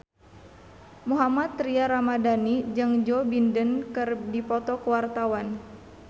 Mohammad Tria Ramadhani jeung Joe Biden keur dipoto ku wartawan